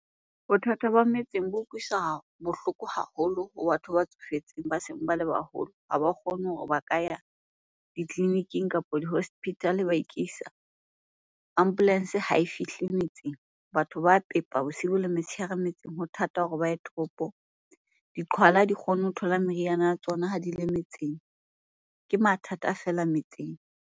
Bothata ba metseng bo utlwisa bohloko haholo ho batho ba tsofetseng ba seng ba le baholo. Ha ba kgone hore ba ka ya ditleliniking kapo di-hospital-e ba ikisal. Ambulance ha e fihle metseng. Batho ba pepa bosibu le motshehare metseng, ho thata hore ba ye toropong. Diqhwala ha di kgone ho thola meriana ya tsona ha di le metseng. Ke mathata feela metseng.